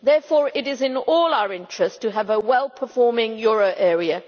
Therefore, it is in all our interests to have a well performing euro area.